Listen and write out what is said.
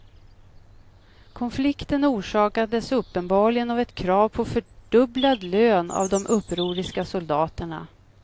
Konflikten orsakades uppenbarligen av ett krav på fördubblad lön av de upproriska soldaterna.